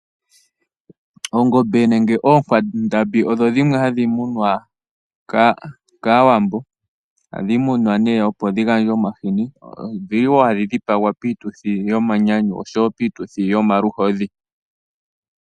Ongombe nenge oonkwandambi odho dhimwe hadhi munwa kAawambo ohadhi munwa opo dhi gandje omahini dho odhili hadhi dhipagwa piituthi yomanyanyu nopiituthi yomaluhodhi.